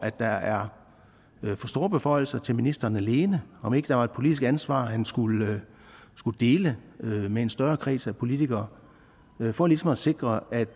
der er for store beføjelser til ministeren alene om ikke der var et politisk ansvar han skulle dele med en større kreds af politikere for ligesom at sikre at